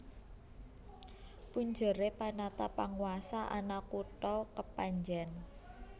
Punjeré Panatapanguwasa ana kutha Kepanjèn